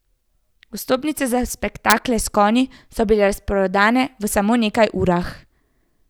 Vstopnice za spektakle s konji so bile razprodane v samo nekaj urah.